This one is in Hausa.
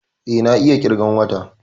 Eh, na iya ƙirgan wata